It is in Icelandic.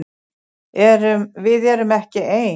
Við erum ekki ein!